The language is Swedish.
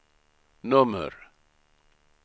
nummer